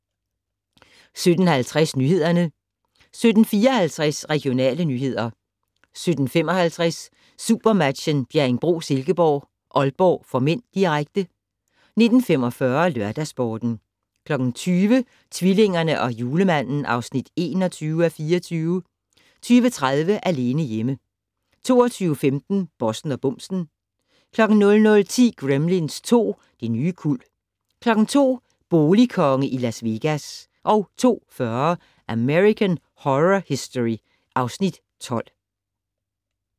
17:50: Nyhederne 17:54: Regionale nyheder 17:55: SuperMatchen: Bjerringbro-Silkeborg - Aalborg (m), direkte 19:45: LørdagsSporten 20:00: Tvillingerne og Julemanden (21:24) 20:30: Alene hjemme 22:15: Bossen og bumsen 00:10: Gremlins 2: Det nye kuld 02:00: Boligkonge i Las Vegas 02:40: American Horror Story (Afs. 12)